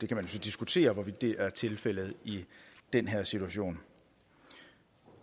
kan så diskutere hvorvidt det er tilfældet i den her situation